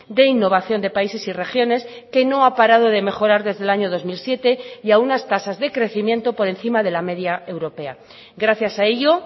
de innovación de países y regiones que no ha parado de mejorar desde el año dos mil siete y a unas tasas de crecimiento por encima de la media europea gracias a ello